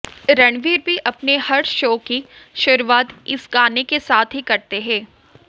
रणबीर भी अपने हर शो की शुरूआत इस गाने के साथ ही करते हैं